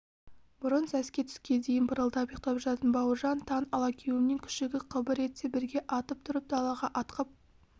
бұрын сәске түске дейін пырылдап ұйықтап жататын бауыржан таң алагеуімнен күшігі қыбыр етсе бірге атып тұрып далаға атқып